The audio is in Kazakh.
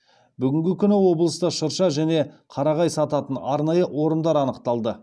бүгінгі күні облыста шырша және қарағай сататын арнайы орындар анықталды